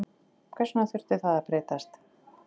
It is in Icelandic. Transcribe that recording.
Hvers vegna þurfti það að breytast?